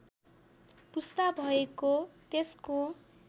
पुस्ता भएको त्यसको